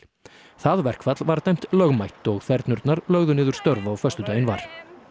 það verkfall var dæmt lögmætt og lögðu niður störf á föstudaginn var